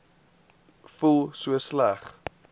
voel so sleg